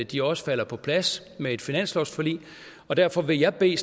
de også falder på plads med et finanslovsforlig derfor vil jeg i